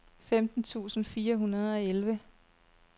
femten tusind fire hundrede og elleve